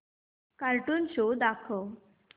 cartoon show दाखव